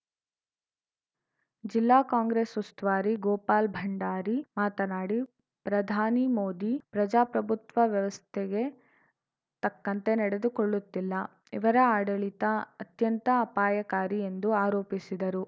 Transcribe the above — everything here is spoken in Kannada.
ಜಿಲ್ಲಾ ಕಾಂಗ್ರೆಸ್‌ ಉಸ್ತುವಾರಿ ಗೋಪಾಲ್‌ ಭಂಡಾರಿ ಮಾತನಾಡಿ ಪ್ರಧಾನಿ ಮೋದಿ ಪ್ರಜಾಪ್ರಭುತ್ವ ವ್ಯವಸ್ಥೆಗೆ ತಕ್ಕಂತೆ ನಡೆದುಕೊಳ್ಳುತ್ತಿಲ್ಲ ಇವರ ಆಡಳಿತ ಅತ್ಯಂತ ಅಪಾಯಕಾರಿ ಎಂದು ಆರೋಪಿಸಿದರು